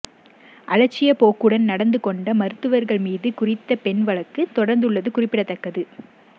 அலட்சியப்போக்குடன் நடந்து கொண்ட மருத்துவர்கள் மீது குறித்த பெண் வழக்கு தொடர்ந்துள்ளது குறிப்பிடத்தக்கது